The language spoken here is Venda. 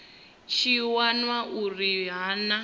tshi wana uri ha na